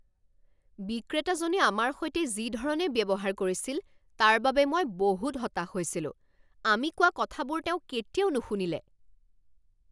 বিক্ৰেতাজনে আমাৰ সৈতে যি ধৰণে ব্যৱহাৰ কৰিছিল তাৰ বাবে মই বহুত হতাশ হৈছিলোঁ, আমি কোৱা কথাবোৰ তেওঁ কেতিয়াও নুশুনিলে।